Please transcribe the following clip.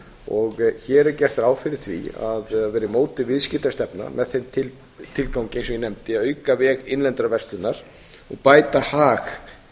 og hér er gert ráð fyrir því að það verði mótuð viðskiptastefna með þeim tilgangi eins og ég nefndi að auka veg innlendrar verslunar og bæta hag